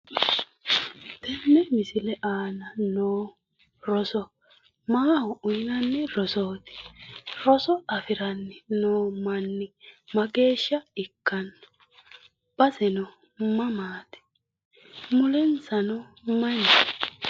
Tenne misile aana noohu rosoho maaho uyiinanni rosooti? Roso afiranni noo manni mageeshsha ikkanno baseno mamaati mulensano mayi leellanno.